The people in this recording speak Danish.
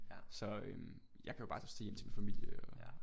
Så øh jeg kan jo bare tage hjem til min familie og